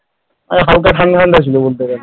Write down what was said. হালকা ঠান্ডা ঠান্ডা ছিল বলতে গেলে